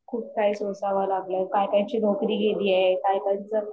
खूप काही सोसाव लागलय अनेकांच्या नोकरी गेली आहे